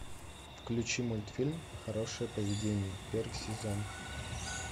включи мультфильм хорошее поведение первый сезон